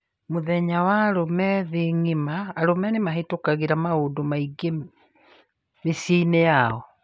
Mũthenya wa arũme thĩĩ ngima: arũme nimabĩtũkagĩra maũndũ maingĩ mĩciĩnĩ yao